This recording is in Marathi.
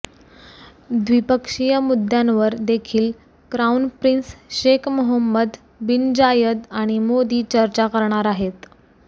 द्विपक्षीय मुद्द्यांवर देखील क्रॉऊन प्रिन्स शेख मोहम्मद बिन जायद आणि मोदी चर्चा करणार आहेत